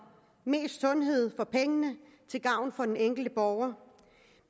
mest sundhed for pengene til gavn for den enkelte borger